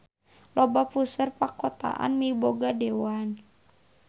Loba puseur pakotaan miboga dewan.